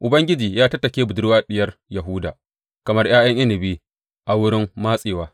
Ubangiji ya tattake budurwa Diyar Yahuda kamar ’ya’yan inabi a wurin matsewa.